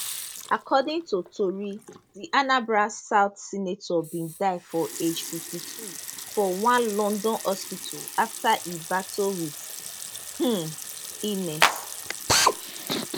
according to tori di anambra south senator bin die for age 52 for one london hospital afta e battle wit um illness